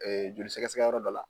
Joli sɛgɛsɛgɛyɔrɔ dɔ la